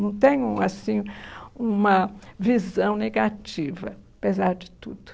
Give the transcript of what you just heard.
Não tenho assim uma visão negativa, apesar de tudo.